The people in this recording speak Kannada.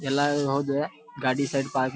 ಎಲ್ಲಾದ್ರು ಹೋದ್ರ ಗಾಡಿ ಸೈಡ್ ಪಾರ್ಕ್ --